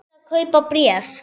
Allir að kaupa bréf